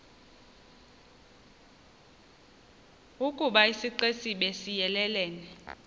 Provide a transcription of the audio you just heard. ukoba isixesibe siyelelene